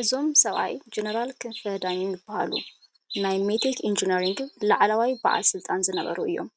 እዞም ሰብኣይ ጀኔራል ክንፈ ዳፕው ይበሃሉ፡፡ ናይ ሜቴክ ኢንጂነሪንግ ላዕለዋይ በዓል ስልጣን ዝነሩ እዮም፡፡